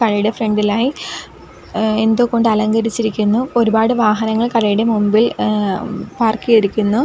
കടയുടെ ഫ്രണ്ടിലായി എന്തോ കൊണ്ട് അലങ്കരിച്ചിരിക്കുന്നു ഒരുപാട് വാഹനങ്ങൾ കടയുടെ മുമ്പിൽ ഏഹ് പാർക്ക് ചെയ്തിരിക്കുന്നു.